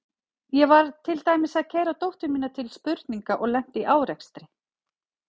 Ég var til dæmis að keyra dóttur mína til spurninga og lenti í árekstri.